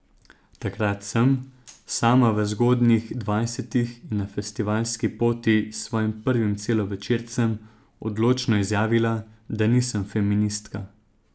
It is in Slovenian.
Takrat sem, sama v zgodnjih dvajsetih in na festivalski poti s svojim prvim celovečercem, odločno izjavila, da nisem feministka.